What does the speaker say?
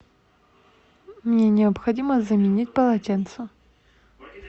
мне необходимо заменить полотенце